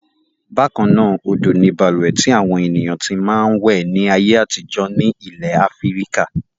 Bákan náà, odò ni balùwẹ̀ tí àwọn ènìyàn ti máa ń wẹ̀ ní ayé àtijọ́ ní ilẹ̀ Áfíríkà.